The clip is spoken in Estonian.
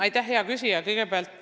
Aitäh, hea küsija!